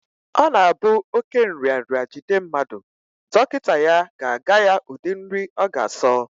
Ọ na-abụ oké nrịanrịa jide mmadụ, dọkịta ya ga-aga ya ụdị nri ọ ga-asọ